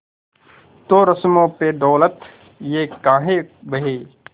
तो रस्मों पे दौलत ये काहे बहे